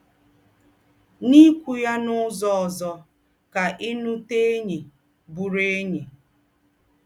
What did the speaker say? N’íkwù ya n’ụ́zọ̀ òzọ̀, kà í nùtè ényí, bùrù ényí.